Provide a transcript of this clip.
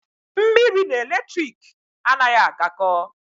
Mmiri na eletrik anaghị agakọ.